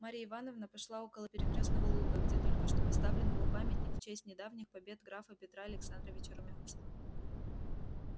марья ивановна пошла около переупёстного луга где только что поставлен был памятник в честь недавних побед графа петра александровича румянцева